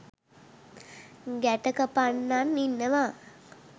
ගැටකපන්නන් ඉන්නවා.